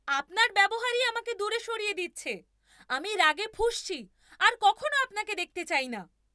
আপনার ব্যবহারই আমাকে দূরে সরিয়ে দিচ্ছে। আমি রাগে ফুঁসছি আর কখনো আপনাকে দেখতে চাই না।